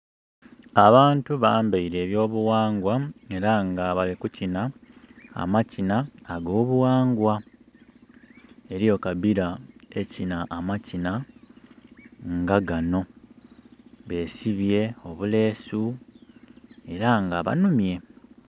Abantu bambeire ebyo bughangwa era nga balli kukinha amakinha ago bughangwa. Eriyo ekabira ekinha amakinha nga gano besibye obulesu era nga banhumye.